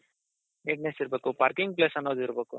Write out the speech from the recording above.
neatness ಇರ್ಬೇಕು parking place ಅನ್ನೋದಿರ್ಬೇಕು